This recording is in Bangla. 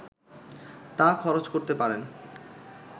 তা খরচ করতে পারেন